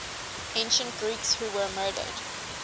ancient greeks who were murdered